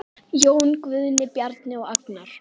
Jón Guðni, Bjarni og Agnar.